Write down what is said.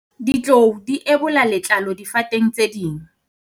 ditlou di ebola letlalo difateng tse ding